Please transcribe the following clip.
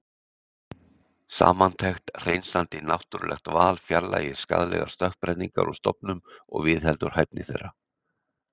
Samantekt Hreinsandi náttúrulegt val fjarlægir skaðlegar stökkbreytingar úr stofnum og viðheldur hæfni þeirra.